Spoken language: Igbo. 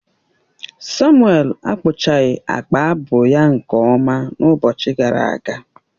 Samuel akpụchaghị akpa abu ya nke ọma n’ụbọchị gara aga